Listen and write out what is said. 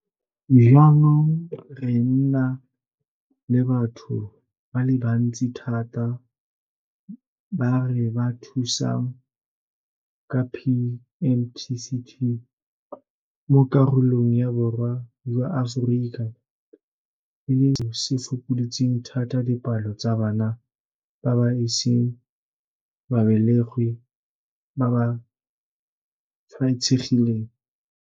Jaanong re na le batho ba le bantsi thata ba re ba thusang ka PMTCT mo karolong ya Borwa jwa Aforika, e leng seo se fokoditseng thata dipalo tsa bana ba ba iseng ba belegwe ba ba tshwaetsegileng.